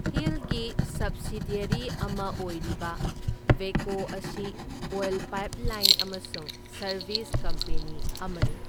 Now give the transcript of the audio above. ꯍꯤꯜꯒꯤ subsidiary ꯑꯃ ꯑꯣꯏꯔꯤꯕ ꯚꯦꯀꯣ ꯑꯁꯤ ꯑꯣꯏꯜ ꯄꯥꯏꯞꯂꯥꯏꯟ ꯑꯃꯁꯨꯡ ꯁꯔꯕꯤꯁ ꯀꯝꯄꯦꯅꯤ ꯑꯃꯅꯤ꯫